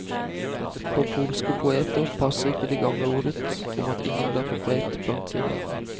På polske poeter passer ikke det gamle ordet om at ingen blir profet blant sine egne.